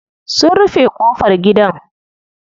Sun rufe ƙofar gidan.